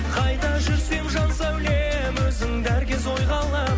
қайда жүрсем жан сәулем өзіңді әр кез ойға аламын